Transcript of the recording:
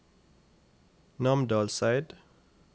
Namdalseid